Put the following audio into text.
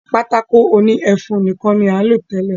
Pátákó òní ẹfun nìkan ní à ń lò tẹ́lẹ̀.